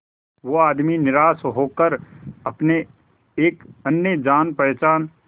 वो आदमी निराश होकर अपने एक अन्य जान पहचान